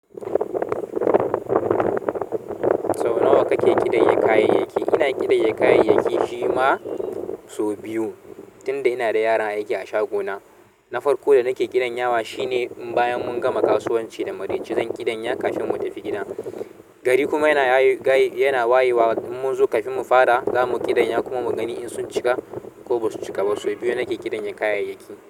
Sau nawa kake kiɗaye kayayyaki? Ina kiɗaye kayayyaki shima sau biyu, tunda ina da yaran aiki a shagona. Nafarƙo da nake kiɗan yawa shine in bayan mun gama kasuwanci da maraice zan kiɗanya kafin mu tafi gida. Gari kuma yana wayewa mun zo kafin mu fara za mu kiɗanya kuma mu gani in sun cika ko ba su cika ba. Sau biyu nake kiɗanya kayayyaki.